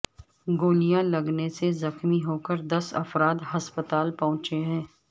گولیاں لگنے سے زخمی ہو کر دس افراد ہسپتال پہنچے ہیں